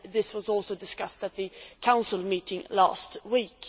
This was also discussed at the Council meeting last week.